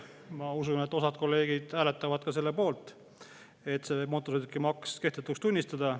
Ma usun, et osa kolleege hääletavad selle poolt, et mootorsõidukimaks kehtetuks tunnistada.